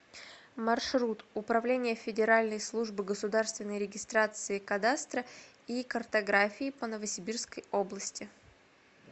маршрут управление федеральной службы государственной регистрации кадастра и картографии по новосибирской области